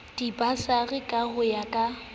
dibasari ka ho ya ka